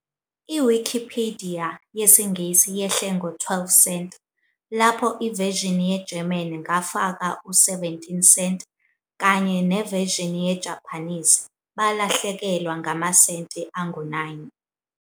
iWikipidiya yesiNgisi yehle ngo-12 senti, labo of version German Ngafaka by 17 cent kanye version Japanese per balahlekelwa 9 angu